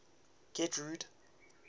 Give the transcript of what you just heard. getrude